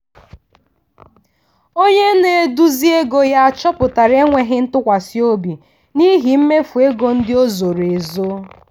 onye na-eduzi ego ya chọpụtara enweghị ntụkwasị obi n'ihi mmefu ego ndị o zoro ezo.